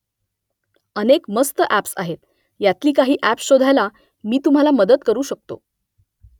अनेक मस्त ॲप्स आहेत यांतली काही ॲप्स शोधायला मी तुम्हाला मदत करू शकतो